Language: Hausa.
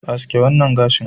Aske wannan gashin.